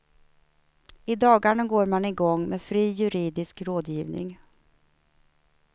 I dagarna går man igång med fri juridisk rådgivning.